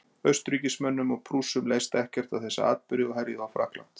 Austurríkismönnum og Prússum leist ekkert á þessa atburði og herjuðu á Frakkland.